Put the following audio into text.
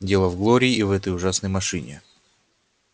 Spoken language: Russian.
дело в глории и в этой ужасной машине